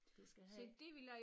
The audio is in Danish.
Du skal have